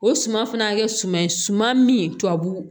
O suman fana kɛ suman ye suman min tubabu